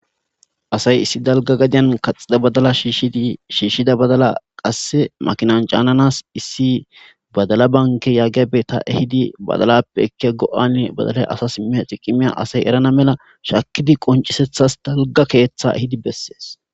asay issi dalga gadiyan kaxida badala shishshi shiishshida badala qasse makinan caananas issi badala banke yaageabe ta ehidi badalappe ekki go7ane badalay asa simiha xi qimiya asay erana mela shakidi qoncisethas dalga keeththa ehidi bessees